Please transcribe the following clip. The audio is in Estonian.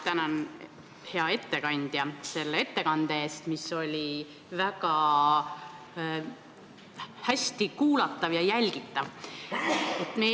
Tänan, hea ettekandja, selle ettekande eest, mis oli väga hästi kuulatav ja jälgitav!